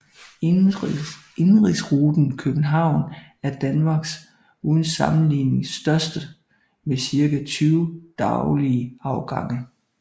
Indenrigsruten til København er Danmarks uden sammenligning største med cirka 20 daglige afgange